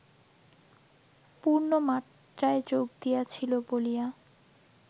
পূর্ণ মাত্রায় যোগ দিয়াছিল বলিয়া